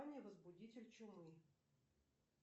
возбудитель чумы